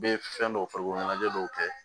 Bɛ fɛn dɔw farikolo ɲɛnajɛ dɔw kɛ